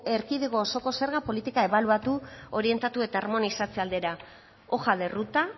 erkidego osoko zerga politika ebaluatu orientatu eta harmonizatze aldera hoja de ruta